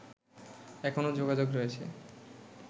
এখনও যোগাযোগ রয়েছে